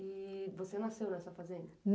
E você nasceu nessa fazenda?